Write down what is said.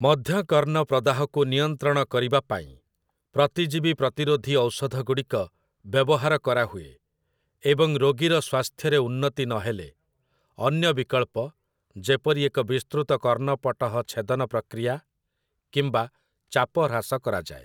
ମଧ୍ୟକର୍ଣ୍ଣ ପ୍ରଦାହକୁ ନିୟନ୍ତ୍ରଣ କରିବା ପାଇଁ ପ୍ରତିଜୀବି ପ୍ରତିରୋଧି ଔଷଧଗୁଡ଼ିକ ବ୍ୟବହାର କରାହୁଏ, ଏବଂ ରୋଗୀର ସ୍ୱାସ୍ଥ୍ୟରେ ଉନ୍ନତି ନହେଲେ, ଅନ୍ୟ ବିକଳ୍ପ ଯେପରି ଏକ ବିସ୍ତୃତ କର୍ଣ୍ଣପଟହ ଛେଦନ ପ୍ରକ୍ରିୟା କିମ୍ବା ଚାପହ୍ରାସ କରାଯାଏ ।